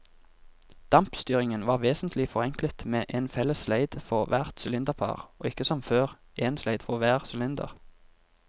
Dampstyringen var vesentlig forenklet med en felles sleid for hvert sylinderpar og ikke som før, en sleid for hver sylinder.